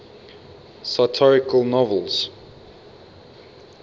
satirical novels